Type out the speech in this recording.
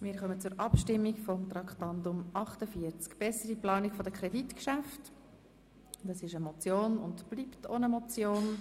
Wir kommen zur Abstimmung über Traktandum 48, das ist eine Motion und bleibt auch eine.